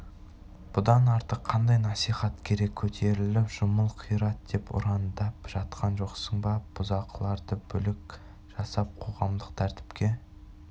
бұдан артық қандай насихат керек көтеріл жұмыл қират деп ұрандап жатқан жоқсың ба бұзақыларды бүлік жасап қоғамдық тәртіпке